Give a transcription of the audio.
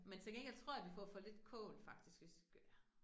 Men til gengæld tror jeg, vi får for lidt kål faktisk, hvis vi skal være